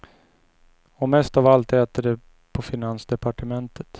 Och mest av allt äter de på finansdepartementet.